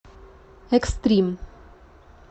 экстрим